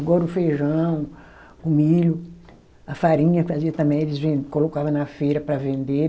Agora o feijão, o milho, a farinha fazia também eles ven, colocava na feira para vender.